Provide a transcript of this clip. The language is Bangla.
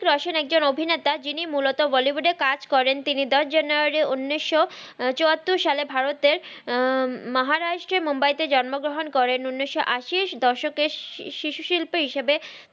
হ্রিত্তিক রশন একজন অভিনেতা জিনি মুলত বল্য্বুদ এ কাজ করেন তিনি দস জানুয়ারি উনিস চুয়াত্তর সালে ভারতের মাহারাস্ত্রের মুম্বাই তে জন্ম গ্রাহান করেন উনিস আসি এর দসক সিসু সিল্পের হিসেবে